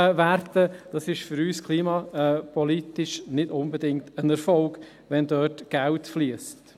für uns ist es klimapolitisch nicht unbedingt ein Erfolg, wenn dort Geld fliesst.